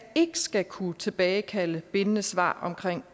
ikke skal kunne tilbagekalde bindende svar om